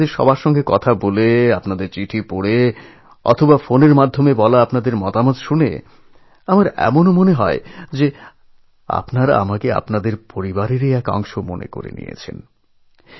অনেক সময় আপনাদের চিঠি পড়তে পড়তে আপনাদের সঙ্গে কথা বলতে বলতে বা ফোনে পাঠানো আপনাদের নানান কথা পরামর্শ শুনতে শুনতে মনে হয়েছে আমাকে আপনারা আপনাদের পরিবারেরই একজন করে নিয়েছেন